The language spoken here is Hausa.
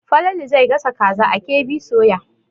Falalu zai gasa kaza a KB soya.